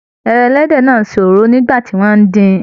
Ẹran ẹlẹ́dẹ̀ náà ń ṣe òróró nígbà tí wọ́n ń dín-in